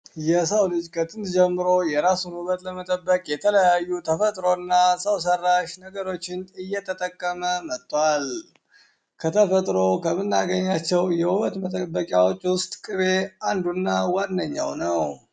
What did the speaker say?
የው ልጅ ከጥንት ጀምሮ የራሱን ውበቱን ለመጠበቅ የተለያዩ ተፈጥሯዊ እና ሰው ሰራሽነገሮችን እየተጠቀመ መጧል። ከተፈጥሮ ከምናገኛቸው የውበት መጠበቂያዎች ውስጥ ቅቤ አንዱ እና ዋነኛው ነው።